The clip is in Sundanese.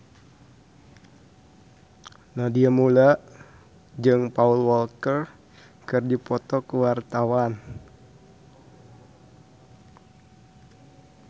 Nadia Mulya jeung Paul Walker keur dipoto ku wartawan